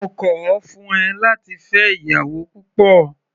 Mo kọ̀ ọ́ fún ẹ láti fẹ́ ìyàwó púpọ̀.